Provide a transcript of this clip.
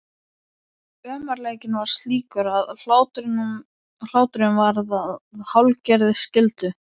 Ömurleikinn var slíkur að hláturinn varð að hálfgerðri skyldu.